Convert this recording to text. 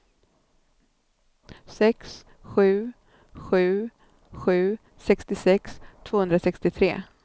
sex sju sju sju sextiosex tvåhundrasextiotre